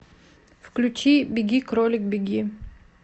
включи беги кролик беги